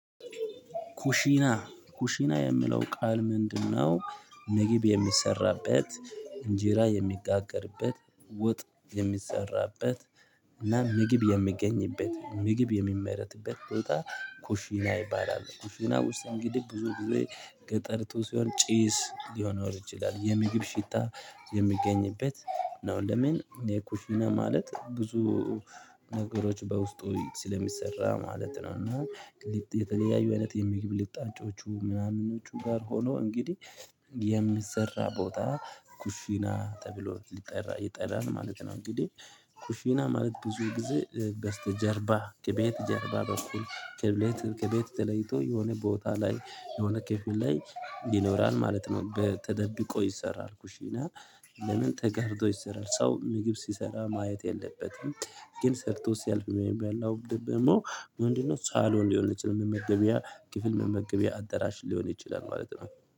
ኩሽና ኩሽና የሚለው ቃል ምንድነው? ምግብ የሚሰራበት እንጀራ የሚጋገርበት ወጥ የሚሰራበት እና ምግብ የሚገኝበት ምግብ የሚመረትበት ቦታ። ኩሽና ይባላል ኩሽና ውስጥ እንግዲህ ብዙ ጊዜ ገጠርቶ ሲሆን ጪስ ሊሆን ወርጅ ይላል የምግብ ሽታ የሚገኝበት ነው። ለምን የኩሽና ማለት ብዙ ነገሮች በውስጡ ስለሚሰራ ማለት ነው። እና የተለያዩ አይነት የሚግብ ልጣንጮቹ ምናምኖቹ ጋር ሆኖ እንግዲህ የሚሰራ ቦታ ኩሽና ተብሎ ሊጠራ ይጠራል ማለት ነው። እንግዲህ ኩሽና ማለት ብዙ ጊዜ በስተጀርባ ከቤት ጀርባ በኩል ከቤት ከቤት ተለይቶ የሆነ ቦታ ላይ የሆነ ክፍል ላይ ይኖራል ማለት ነው። በ ተደብቆ ይሰራል እና ለምን ተጋርዶ ይሰራል ሰው ምግብ ሲሰራ ማየት የለበትም። ግን ሰርቶ ሲያልፍ ወይም ያለው ደግሞ ምንድነው? ሳሎን ሊሆን የችል መመገቢያ ክፍል መመገቢያ አዳራሽ ሊሆን ይችላል ማለት ነው